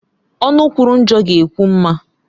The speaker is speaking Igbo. Ọnụ kwuru njọ ga-ekwu mma